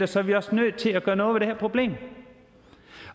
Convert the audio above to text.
så er vi også nødt til at gøre noget ved det problem